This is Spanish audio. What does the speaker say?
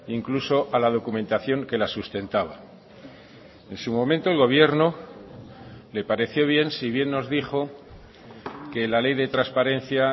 incluso a la documentación que la sustentaba en su momento el gobierno le pareció bien si bien nos dijo que la ley de transparencia